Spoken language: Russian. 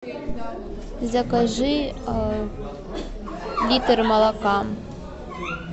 закажи литр молока